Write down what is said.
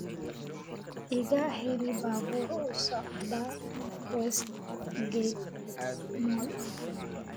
iga hel baabuur u socda Westgate Mall